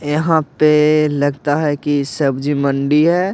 यहाँ पे लगता है कि सब्जी मंडी है।